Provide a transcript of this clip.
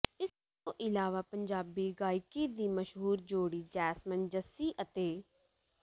ਇਸ ਤੋਂ ਇਲਾਵਾਂ ਪੰਜਾਬੀ ਗਾਇਕੀ ਦੀ ਮਸ਼ਹੂਰ ਜੋੜੀ ਜੈਸਮਨ ਜੱਸੀ ਅਤੇ